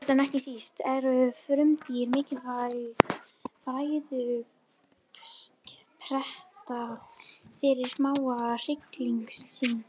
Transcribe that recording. Síðast en ekki síst eru frumdýr mikilvæg fæðuuppspretta fyrir smáa hryggleysingja.